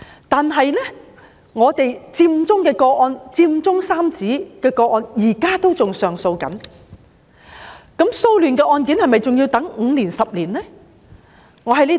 但是，"佔中三子"的個案，現在仍然在上訴。那麼，騷亂的案件是否還要等5年至10年才能審理？